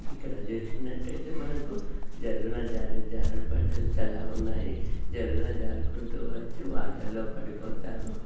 ఇక్కడ చూసినట్టయితే మనకి జర్రున జారు జారు జారుడు బండలు చాలా ఉన్నాయి జర్రున జారుకుంటూ వచ్చి వాటర్ లో పడిపోతారు.